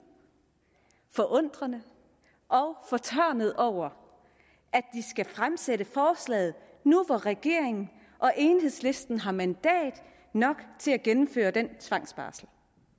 forundrede og fortørnede over at de skal fremsætte forslaget nu hvor regeringen og enhedslisten har mandater nok til at gennemføre den tvangsbarsel